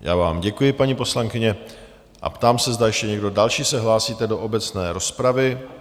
Já vám děkuji, paní poslankyně, a ptám se, zda ještě někdo další se hlásí do obecné rozpravy?